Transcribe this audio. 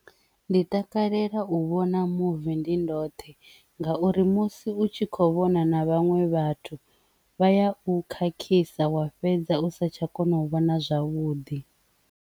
Ndi takalela u vhona movie ndi ndoṱhe ngauri musi u tshi kho vhona na vhaṅwe vhathu vha ya u khakhisa wa fhedza u sa tsha kona u vhona zwavhuḓi.